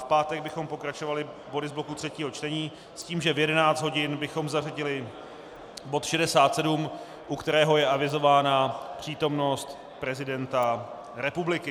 V pátek bychom pokračovali body z bloku třetího čtení s tím, že v 11 hodin bychom zařadili bod 67, u kterého je avizována přítomnost prezidenta republiky.